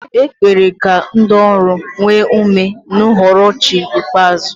A kpere ka ndị ọrụ nwee ume n'uhuruchi ikpeazụ.